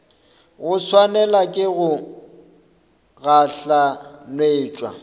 go swanelwa ke go gahlanetšwa